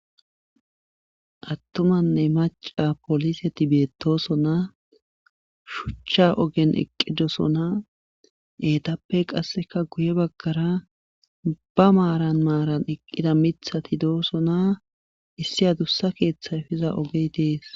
Attumanne macca poliseti beettoosona shucha ogen eqqidosona eetappe qassika guye baggara ba maaran maaran eqqida miththati doosona issi adussa keetha efiza ogey dees.